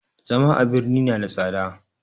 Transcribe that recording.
Zama a birni na da tsada